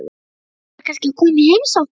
Ætlarðu kannski að koma í heimsókn?